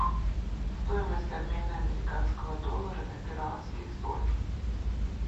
стоимость обмена американского доллара на перуанский соль